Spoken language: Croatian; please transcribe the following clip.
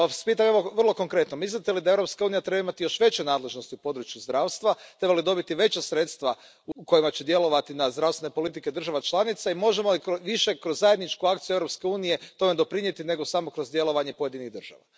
Pa Vas pitam vrlo konkretno Mislite li da Europska unija treba imati još veće nadležnosti u području zdravstva, treba li dobiti veća sredstva kojima će djelovati na zdravstvene politike država članica i možemo li više kroz zajedničku akciju Europske unije tome doprinijeti nego samo kroz djelovanje pojedinih država?